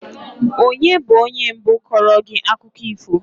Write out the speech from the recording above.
Onye bụ onye mbụ kọọrọ gị akụkọ ifo?